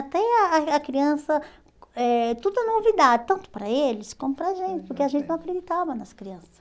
Até a a a criança... Eh tudo é novidade, tanto para eles como para a gente, porque a gente não acreditava nas crianças.